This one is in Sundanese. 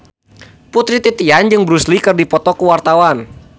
Putri Titian jeung Bruce Lee keur dipoto ku wartawan